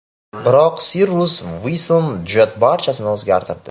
Biroq Cirrus Vision Jet barchasini o‘zgartirdi.